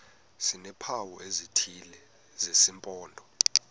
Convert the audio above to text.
sineempawu ezithile zesimpondo